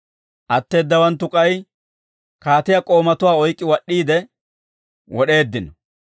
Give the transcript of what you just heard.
Atteeddawanttu k'ay kaatiyaa k'oomatuwaa oyk'k'i wad'd'iide wod'eeddino.